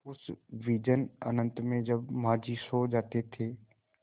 उस विजन अनंत में जब माँझी सो जाते थे